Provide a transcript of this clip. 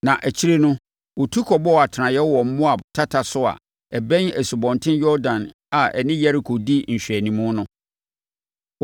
Na akyire no, wɔtu kɔbɔɔ atenaeɛ wɔ Moab tata so a ɛbɛn Asubɔnten Yordan a ɛne Yeriko di nhwɛanimu no.